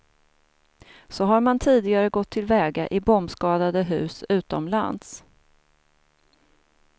Så har man tidigare gått till väga i bombskadade hus utomlands.